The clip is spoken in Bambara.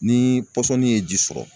Ni pɔsɔni ye ji sɔrɔ